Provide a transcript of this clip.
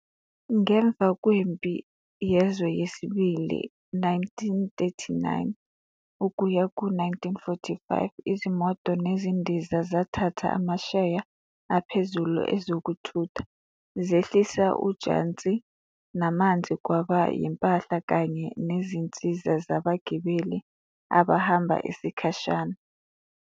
Ngemva kweMpi Yezwe II, 1939-1945, izimoto nezindiza zathatha amasheya aphezulu ezokuthutha, zehlisa ujantshi namanzi kwaba yimpahla kanye nezinsiza zabagibeli abahamba isikhashana.